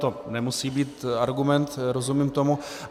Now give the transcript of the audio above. To nemusí být argument, rozumím tomu.